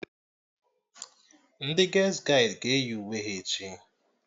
Ndị ges gaịdị ga-eyi uwe ha echi